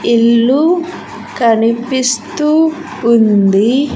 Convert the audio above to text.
ఇల్లు కనిపిస్తూ ఉంది.